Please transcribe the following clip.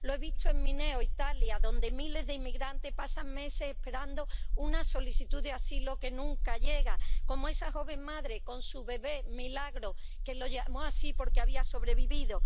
lo he visto en Mineo donde miles de inmigrantes pasan meses esperando una solicitud de asilo que nunca llega —como esa joven madre con su bebé Milagro, al que llamó así porque había sobrevivido—.